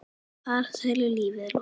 Farsælu lífi er lokið.